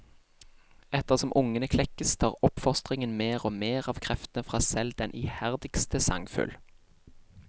Etter som ungene klekkes tar oppfostringen mer og mer av kreftene fra selv den iherdigste sangfugl.